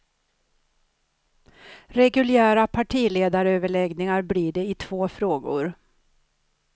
Reguljära partiledaröverläggningar blir det i två frågor.